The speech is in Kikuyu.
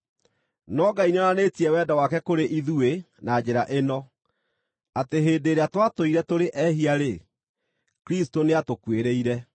No Ngai nĩonanĩtie wendo wake kũrĩ ithuĩ na njĩra ĩno: Atĩ hĩndĩ ĩrĩa twatũire tũrĩ ehia-rĩ, Kristũ nĩatũkuĩrĩire.